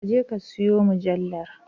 Ka je ka siyon mujallar